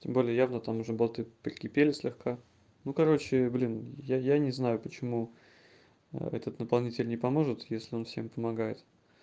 тем более явно там уже болты прикипели слегка ну короче блин я я не знаю почему этот наполнитель не поможет если он всем помогает